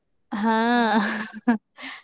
ಹಾ .